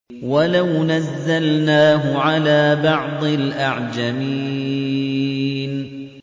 وَلَوْ نَزَّلْنَاهُ عَلَىٰ بَعْضِ الْأَعْجَمِينَ